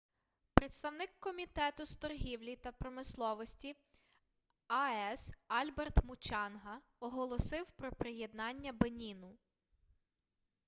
представник комітету з торгівлі та промисловості ас альберт мучанга оголосив про приєднання беніну